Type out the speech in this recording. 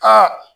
Aa